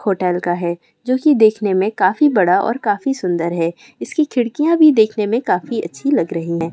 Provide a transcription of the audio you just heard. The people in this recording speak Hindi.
होटल का है जो की देखने में काफी बड़ा और काफी सुन्दर है इसकी खिड़कियाँ भी देखने में काफी अच्छी लग रही हैं।